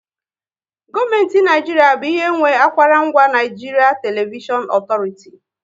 Gọọmenti Naijiria bụ ihe nwe akwaranga Nigeria Television Authority